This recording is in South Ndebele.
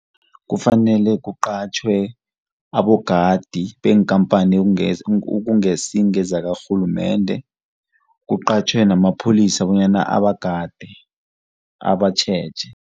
Kufanele kuqatjhwe abogadi beenkampani ekungasi ngezakarhulumende. Kuqatjhwe namapholisa bonyana abagade, abatjheje.